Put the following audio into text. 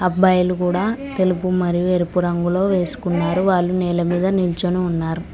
అబ్బాయిలు కూడా తెలుపు మరి ఎరుపు రంగులో వేసుకున్నారు వాళ్ళు నేల మీద నిల్చుని ఉన్నారు.